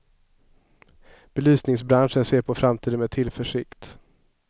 Belysningsbranschen ser på framtiden med tillförsikt.